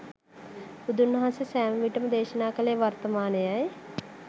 බුදුන් වහන්සේ සෑම විටම දේශනා කලේ වර්තමානයයි